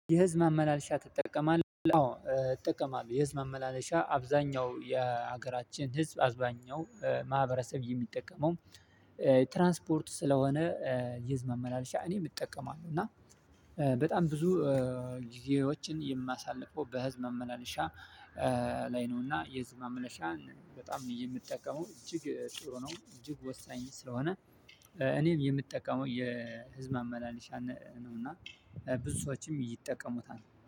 የህዝብ ማመላለሻ ትጠቀማለህ? አዎ እጠቀማለሁ። የህዝብ ማመላለሻ አብዛኛው የሀገራችን ህዝብ አብዛኛው ማህበረሰብ የሚጠቀመው ትራንስፖርት ስለሆነ። የህዝብ መመላለሻ እኔም እጠቀማለሁ እና በጣም ብዙ ጊዜዎችን የማሳልፈው በህዝብ መመላለሻ ላይ ነው። እና የህዝብ ማመላለሻ በጣም የምትጠቀመው እጅግ ጥሩ ነው። እጅግ ወሳኝ ስለሆነ እኔም የምጠቀመው የህዝብ ማመላልሻን ነው። እና ብዙ ሰዎችም ይጠቀሙታል